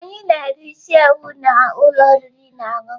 Anyị na-eri isi ewu na ụlọ oriri na ọṅụṅụ.